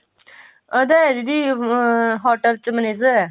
ਉਹਦਾ ਹੈ ਦੀਦੀ hotel ਚ manager ਹੈ